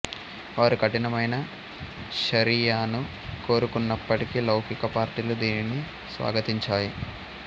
వారు కఠినమైన షరియాను కోరుకున్నప్పటికీ లౌకిక పార్టీలు దీనిని స్వాగతించాయి